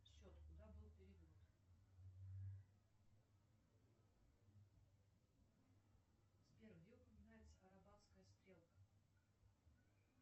счет куда был перевод сбер где упоминается арабатская стрелка